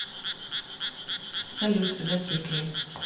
салют зацикли